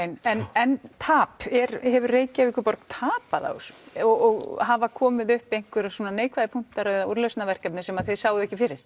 en en tap hefur Reykjavíkurborg tapað á þessu og hafa komið upp einhverjir neikvæðir punktar eða úrlausnarverkefni sem þið sáuð ekki fyrir